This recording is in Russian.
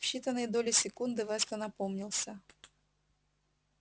в считанные доли секунды вестон опомнился